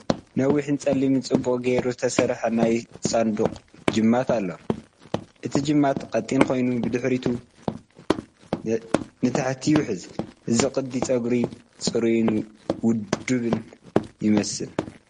ነዊሕን ጸሊምን ጽቡቕ ጌሩ ዝተሰርሐን ናይ ሳንዱቕ ጅማት ኣለዎ። እቲ ጅማት ቀጢን ኮይኑ ብድሕሪት ንታሕቲ ይውሕዝ። እዚ ቅዲ ጸጉሪ ጽሩይን ውዱብን ይመስል።